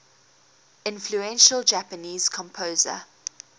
influential japanese composer